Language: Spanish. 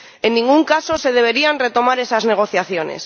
en ningún caso se deberían retomar esas negociaciones.